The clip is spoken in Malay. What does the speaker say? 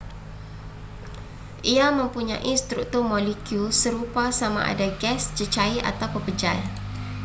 ia mempunyai struktur molekul serupa sama ada gas cecair atau pepejal